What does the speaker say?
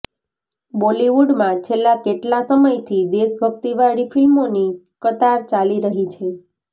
બોલિવૂડમાં છેલ્લા કેટલા સમયથી દેશભક્તિવાળી ફિલ્મોની કતાર ચાલી રહી છે